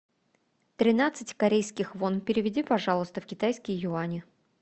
тринадцать корейских вон переведи пожалуйста в китайские юани